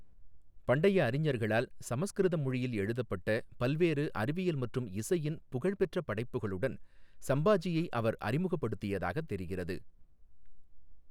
பண்டைய அறிஞர்களால் சமஸ்கிருத மொழியில் எழுதப்பட்ட பல்வேறு அறிவியல் மற்றும் இசையின் புகழ்பெற்ற படைப்புகளுடன் சம்பாஜியை அவர் அறிமுகப்படுத்தியதாகத் தெரிகிறது.